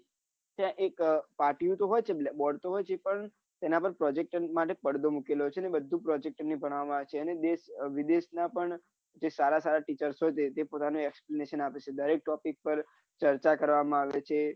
ત્યાં એક પાટિયું તો હોય જ છે bord હોય છે પણ તેના ઉપર project માટે પડદો મુકેલો છે એને બધુજ project માં જનવામાં આવે છે અને દેશ વિદેશ ના પણ એ સારા સારા teachar હોય છે જે પોતાનો આપે છે દરેક topic પર જલસા કરવા માં આવે છે